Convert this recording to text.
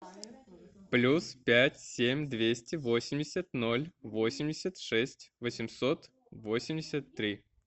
плюс пять семь двести восемьдесят ноль восемьдесят шесть восемьсот восемьдесят три